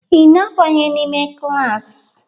Ị na-abanye n'ime klaasị?